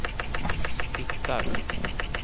hittar